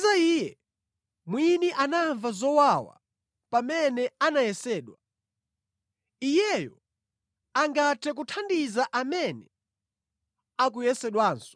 Popeza Iye mwini anamva zowawa pamene anayesedwa, Iyeyo angathe kuthandiza amene akuyesedwanso.